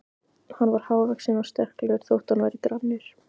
Hann var hávaxinn og sterklegur þótt hann væri grannur.